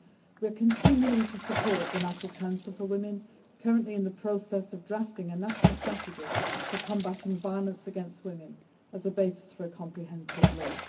We are continuing to support the National Council for Women, currently in the process of drafting a national strategy for combating violence against women as a basis for a comprehensive law.